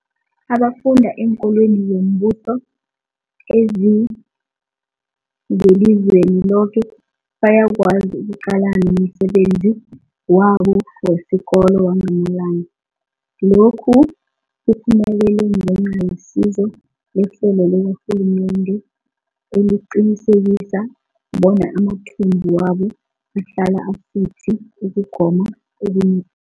abafunda eenkolweni zombuso ezingelizweni loke bayakwazi ukuqalana nomsebenzi wabo wesikolo wangamalanga. Lokhu kuphumelele ngenca yesizo lehlelo likarhulumende eliqinisekisa bona amathumbu wabo ahlala asuthi ukugoma okunepilo.